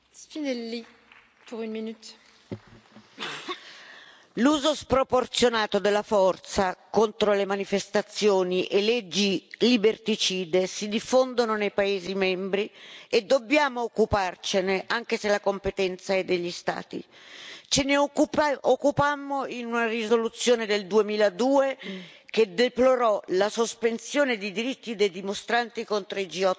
Signora Presidente, onorevoli colleghi, l'uso sproporzionato della forza contro le manifestazioni e leggi liberticide si diffondono nei paesi membri e dobbiamo occuparcene, anche se la competenza è degli Stati. Ce ne occupammo in una risoluzione del 2002 che deplorò la sospensione di diritti dei dimostranti contro il G8 di Genova.